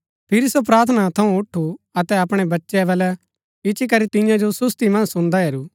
फिरी सो प्रार्थना थऊँ उठु अतै अपणै चेलै बलै इच्ची करी तियां जो सुसति मन्ज सून्‍दा हैरू